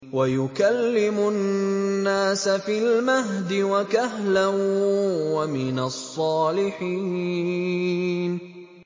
وَيُكَلِّمُ النَّاسَ فِي الْمَهْدِ وَكَهْلًا وَمِنَ الصَّالِحِينَ